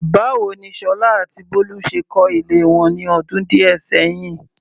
Báwo ni Sola àti Bolu ṣe kọ́ ilé wọn ní ọdún díẹ̀ sẹ́yìn?